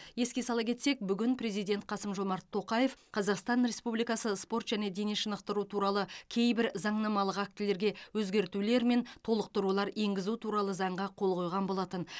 еске сала кетсек бүгін президент қасым жомарт тоқаев қазақстан республикасы спорт және дене шынықтыру туралы кейбір заңнамалық актілерге өзгертулер мен толықтырулар енгізу туралы заңға қол қойған болатын